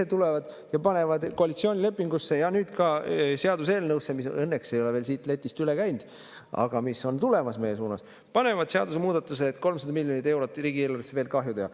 Ise tulevad ja panevad koalitsioonilepingusse ja nüüd ka seaduseelnõusse, mis õnneks ei ole veel siit letist üle käinud, aga mis on tulemas meie suunas, panevad seadusemuudatuse, et 300 miljonit eurot riigieelarvesse veel kahju teha.